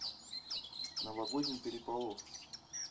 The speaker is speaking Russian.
новогодний переполох